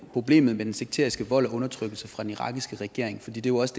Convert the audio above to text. problemet med den sekteriske vold og undertrykkelse fra den irakiske regering fordi det jo også